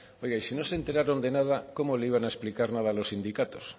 oye si no se enteraron de nada cómo le iban a explicar nada a los sindicatos